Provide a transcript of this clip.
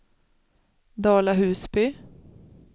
Dala-Husby